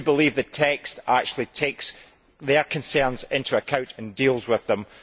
I believe the text actually takes their concerns into account and deals with them.